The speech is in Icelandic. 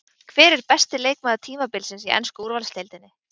Hver er besti leikmaður tímabilsins í ensku úrvalsdeildinni?